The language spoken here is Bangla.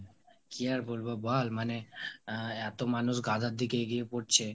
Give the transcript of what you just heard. কি আর বলবো বল মানে আহ এতো মানুষ গাঁজার দিকে এগিয়ে পড়ছে.